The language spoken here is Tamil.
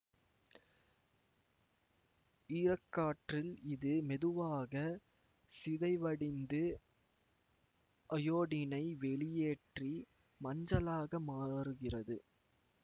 ஈரக்காற்றில் இது மெதுவாக சிதைவடிந்து அயோடினை வெளியேற்றி மஞ்சளாக மாறுகிறது